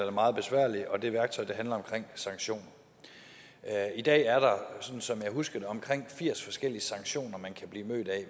er meget besværlige og det værktøj handler om sanktioner i dag er der sådan som jeg husker det omkring firs forskellige sanktioner man kan blive mødt af